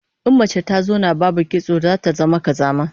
In mace ta zauna babu kitso zata zama kazama